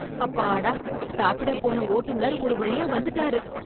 அப்பாடா... சாப்பிடப் போன ஓட்டுனர் ஒருவழியா வந்துட்டாரு.